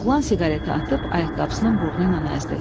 Oğlan siqareti atıb ayaqqabısının burnu ilə əzdi.